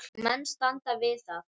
Og menn standa við það.